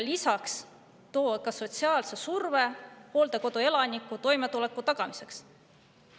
Lisaks toob see sotsiaalse surve hooldekodu elanike toimetuleku tagamiseks.